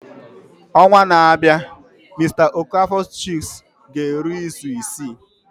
Ọnwa na-abịa mr okafors chicks ga-eru izu isii.